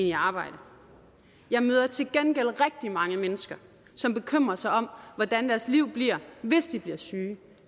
i arbejde jeg møder til gengæld rigtig mange mennesker som bekymrer sig om hvordan deres liv bliver hvis de bliver syge